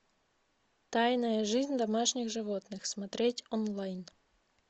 тайная жизнь домашних животных смотреть онлайн